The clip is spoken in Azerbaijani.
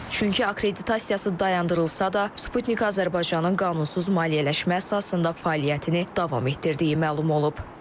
Çünki akkreditasiyası dayandırılsa da, Sputnik Azərbaycanın qanunsuz maliyyələşmə əsasında fəaliyyətini davam etdirdiyi məlum olub.